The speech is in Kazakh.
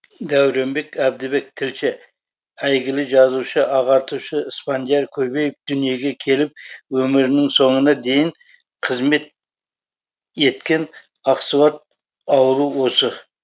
дәуренбек әбдібек тілші әйгілі жазушы ағартушы спандияр көбеев дүниеге келіп өмірінің соңына дейін қызмет еткен ақсуат ауылы осы